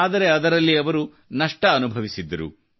ಆದರೆ ಅದರಲ್ಲಿ ಅವರು ನಷ್ಟ ಅನುಭವಿಸಿದ್ದರು